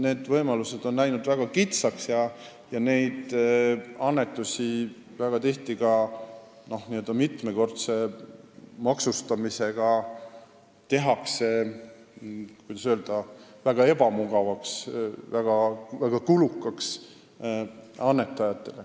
Need võimalused on läinud väga kitsaks: annetamine tehakse väga tihti mitmekordse maksustamisega annetajatele väga ebamugavaks ja väga kulukaks.